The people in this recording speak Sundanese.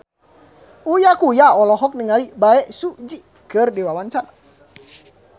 Uya Kuya olohok ningali Bae Su Ji keur diwawancara